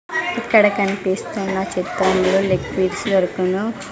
ఇక్కడ కన్పిస్తున్న చిత్రంలో లెగ్ పీర్స్ దొరుకును.